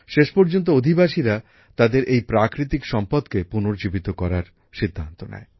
শেষ পর্যন্ত অধিবাসীরা তাদের এই প্রাকৃতিক সম্পদকে পুনর্জীবিত করার সিদ্ধান্ত নেয়